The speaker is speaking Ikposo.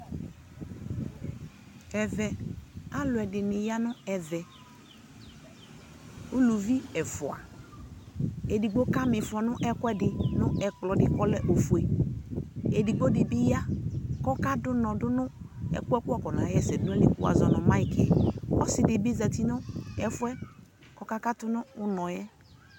Ɛvɛ, alu ɛdini ya nu ɛvɛUluvi ɛfuaƐdigbo kama ifɔ nɛku ɛdi nɛ kplɔ di kɔlɛ ɔfueƐdigbo di bi ya kɔka du nɔ du ɛku ku wafɔ na wɔsɛ du na yi li ku wazɔ nu maikiƆsi di bi zati nu nu ɔfu yɛ kɔka katu nu unɔ yɛ